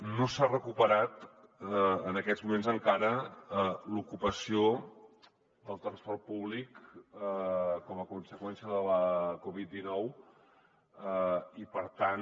no s’ha recuperat en aquests moments encara l’ocupació del transport públic com a conseqüència de la covid dinou i per tant